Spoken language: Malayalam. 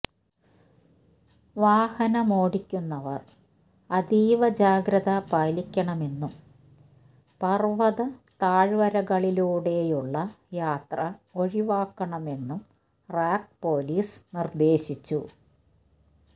വാഹനമോടിക്കുന്നവര് അതീവ ജാഗ്രത പാലിക്കണമെന്നും പര്വത താഴ്വരകളിലൂടെയുള്ള യാത്ര ഒഴിവാക്കണമെന്നും റാക് പോലീസ് നിര്ദേശിച്ചു